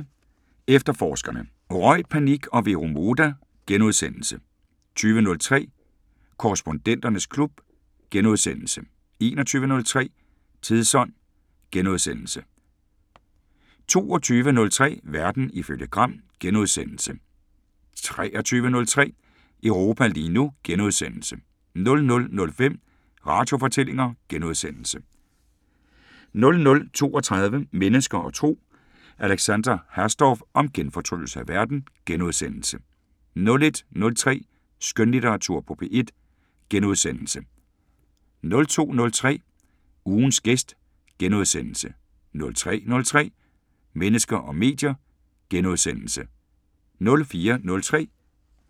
19:33: Efterforskerne: Røg, panik og Vero Moda * 20:03: Korrespondenternes klub * 21:03: Tidsånd * 22:03: Verden ifølge Gram * 23:03: Europa lige nu * 00:05: Radiofortællinger * 00:32: Mennesker og Tro: Alexandra Hasdorf om genfortryllelse af verden * 01:03: Skønlitteratur på P1 * 02:03: Ugens gæst * 03:03: Mennesker og medier *